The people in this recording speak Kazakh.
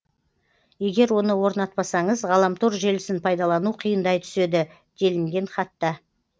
егер оны орнатпасаңыз ғаламтор желісін пайдалану қиындай түседі делінген хатта